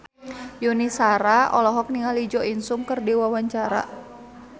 Yuni Shara olohok ningali Jo In Sung keur diwawancara